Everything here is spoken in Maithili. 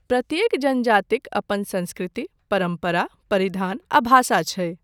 प्रत्येक जनजातिक अपन संस्कृति, परम्परा, परिधान आ भाषा छै।